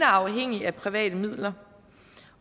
afhængig af private midler